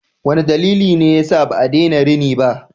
Wane dalili ne yasa ba a daina rini ba?